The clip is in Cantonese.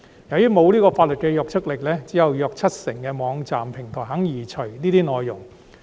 由於不具法律約束力，只有約七成網站平台願意移除這些內容。